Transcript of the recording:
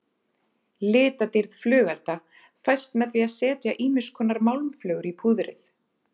Litadýrð flugelda fæst með því að setja ýmiskonar málmflögur í púðrið.